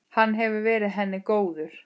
Hann hefur verið henni góður.